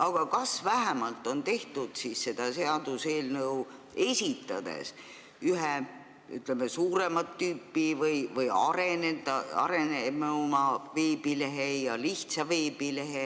Aga kas vähemalt on tehtud seaduseelnõu esitades ära ühe, ütleme, suuremat tüüpi või arenenuma veebilehe ja lihtsa veebilehe